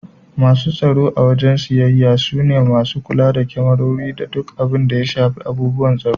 Masu tsaro a wajen siyayya su ne masu kula da kemarori da duk abun da ya shafi abubuwan tsaro.